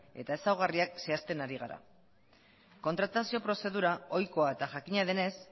eta ezaugarriak zehazten ari gara kontratazio prozedura ohikoa eta jakina denez